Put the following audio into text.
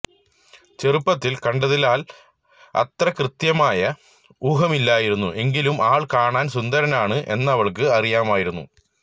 ചെറുപ്പത്തില് കണ്ടതിനാല് അത്ര കൃത്യമായ ഊഹമില്ലായിരുന്നു എങ്കിലും ആള് കാണാന് സുന്ദരനാണ് എന്നവള്ക്ക് അറിയാമായിരുന്നു